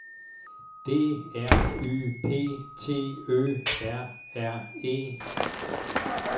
D R Y P T Ø R R E